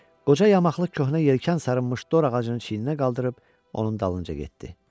Qoca yamaqlı köhnə yelkən sarınmış dor ağacını çiyninə qaldırıb onun dalınca getdi.